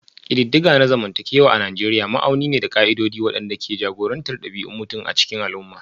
Ƙididdiga na zamantakewa a Nijeriya ma'auni ne da ƙa'idodi waɗanda ke jagorantar ɗabi'un mutum a cikin al'umma